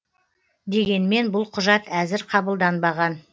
дегенмен бұл құжат әзір қабылданбаған